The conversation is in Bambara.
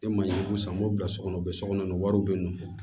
E ma ye yiri san m'o bila so kɔnɔ u bɛ so kɔnɔ wariw bɛ nɔn